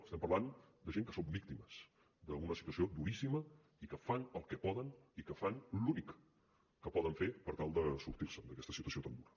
estem parlant de gent que són víctimes d’una situació duríssima i que fan el que poden i que fan l’únic que poden fer per tal de sortir se’n d’aquesta situació tan dura